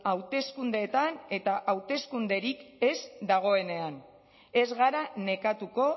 hauteskundeetan eta hauteskunderik ez dagoenean ez gara nekatuko